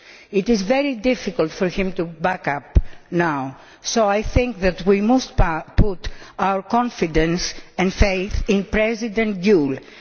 It is very difficult for him to back off now, so I think that we must put our confidence and faith in President Gül.